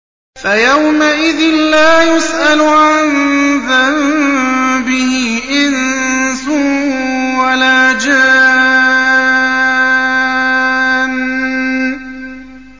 فَيَوْمَئِذٍ لَّا يُسْأَلُ عَن ذَنبِهِ إِنسٌ وَلَا جَانٌّ